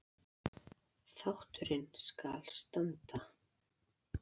Þátturinn skal standa